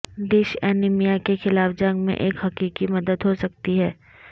dish anaemia کے خلاف جنگ میں ایک حقیقی مدد ہو سکتی ہے